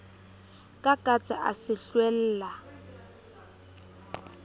ka katse a se hlwella